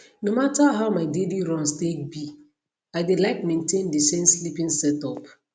no matter how my daily runs take be i dey like maintain the same sleeping setup